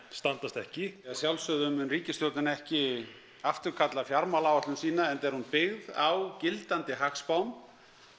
standast ekki að sjálfsögðu mun ríkisstjórnin ekki afturkalla fjármálaáætun sína enda er hún byggð á gildandi hagspám